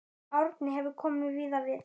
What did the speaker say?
Árni hefur komið víða við.